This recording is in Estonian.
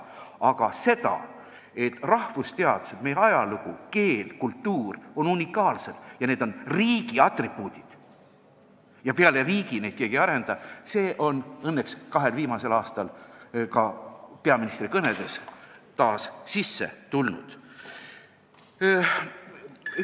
Aga see, et rahvusteadused, meie ajalugu, keel ja kultuur on unikaalsed, need on riigi atribuudid ja peale riigi neid keegi ei arenda, on õnneks kahel viimasel aastal peaministri kõnedesse taas sisse tulnud.